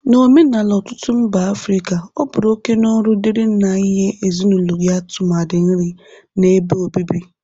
N'omenala ọtụtụ mba Afrịka, ọ bụru oke na ọrụ dịri nna inye ezinaụlọ ya tụmadị nri na ebe obibi.